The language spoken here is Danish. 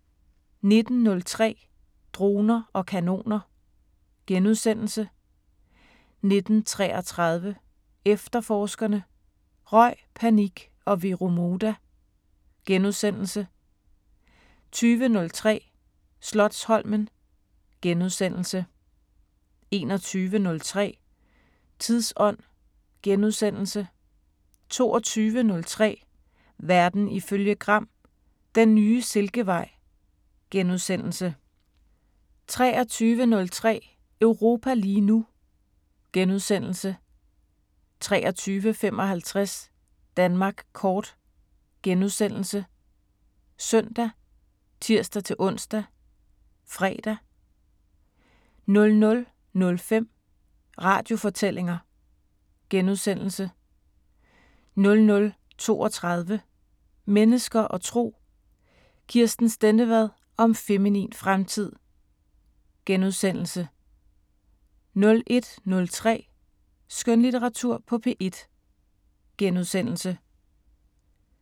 19:03: Droner og kanoner * 19:33: Efterforskerne: Røg, panik og Vero Moda * 20:03: Slotsholmen * 21:03: Tidsånd * 22:03: Verden ifølge Gram: Den nye silkevej * 23:03: Europa lige nu * 23:55: Danmark kort *( søn, tir-ons, fre) 00:05: Radiofortællinger * 00:32: Mennesker og Tro: Kirsten Stendevad om feminin fremtid * 01:03: Skønlitteratur på P1 *